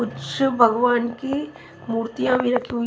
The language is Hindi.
कुछ भगवान की मूर्तियां भी राखी हुई--